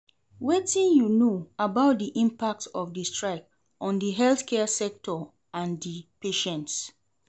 Wetin you know about di impact of di strike on di healthcare sector and di patients?